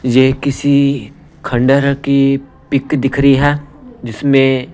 ये किसी खंडहर की पिक दिख रही है जिसमें--